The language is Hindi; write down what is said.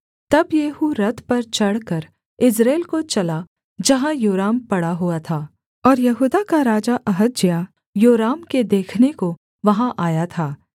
तब येहू रथ पर चढ़कर यिज्रेल को चला जहाँ योराम पड़ा हुआ था और यहूदा का राजा अहज्याह योराम के देखने को वहाँ आया था